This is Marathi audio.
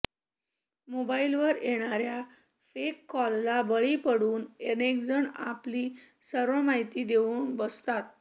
मोबाईलवर येणार्या फेक कॉलला बळी पडून अनेकजण आपली सर्व माहिती देऊन बसतात